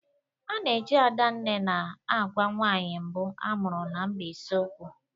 A na-eji Adanne na-agwa nwaanyị mbụ amụrụ na Mbaise okwu.